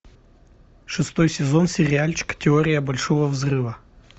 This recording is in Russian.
шестой сезон сериальчика теория большого взрыва